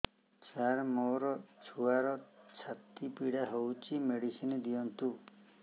ସାର ମୋର ଛୁଆର ଛାତି ପୀଡା ହଉଚି ମେଡିସିନ ଦିଅନ୍ତୁ